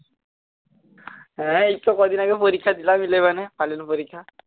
হ্যাঁ এইতো কয়দিন আগে পরীক্ষা দিলাম eleven এ final পরীক্ষা